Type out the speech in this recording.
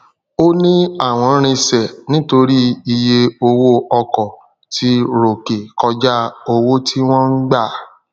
òní àwọn rinsẹ nítorí iye owó ọkọ tí ròkè kọjá owó tí wón gbà